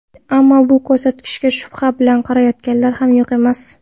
Ammo bu ko‘rsatkichga shubha bilan qarayotganlar ham yo‘q emas.